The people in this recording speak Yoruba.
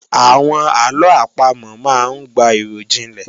Àwọn àlọ àpamò máa ń gba ìròjinlẹ̀